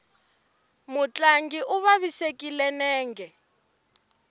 mutlangi u vavisekile nenge